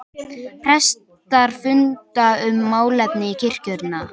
Prestar funda um málefni kirkjunnar